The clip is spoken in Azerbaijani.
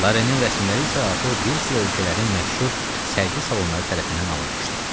Larenin rəsmləri isə artıq bir sıra ölkələrin məşhur sərgi salonları tərəfindən alınmışdı.